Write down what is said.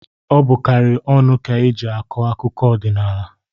Ọ bụkarị ọnụ ka e ji akụ akụkọ odịnaala.